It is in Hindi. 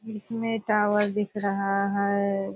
इसमें टावर दिख रहा है।